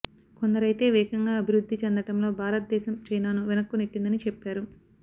కొందరైతే వేగంగా అభివృద్ధి చెందటంలో భారతదేశం చైనాను వెనక్కు నెట్టిందని చెప్పారు